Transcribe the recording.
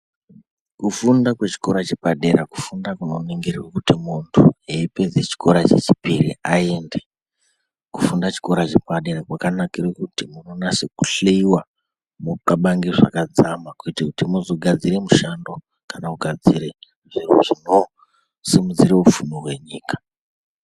Kufunda kwechikora chepadera kufunda kunoningirwa kuti muntu eipedza chikora chechipiri i aende . Kufunda chikora chepadera kwakanakire kuti munonase kuhleiwa mokabange zvakadzama kuitira kuti mugadzire mushando kana kugadzire zviro zvinosimudzire upfumi hwenyika.